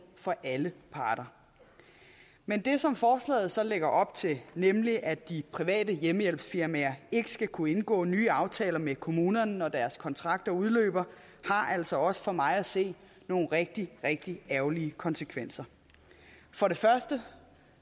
for alle parter men det som forslaget så lægger op til nemlig at de private hjemmehjælpsfirmaer ikke skal kunne indgå nye aftaler med kommunerne når deres kontrakter udløber har altså også for mig at se nogle rigtig rigtig ærgerlige konsekvenser for det første